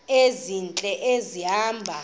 ezintle esi hamba